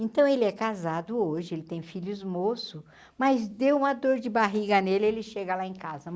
Então, ele é casado hoje, ele tem filhos moço, mas deu uma dor de barriga nele, ele chega lá em casa.